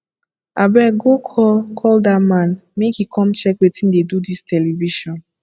abeg go call call dat man make he come check wetin dey do dis television